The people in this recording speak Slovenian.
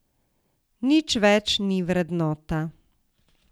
Nič več ni vrednota.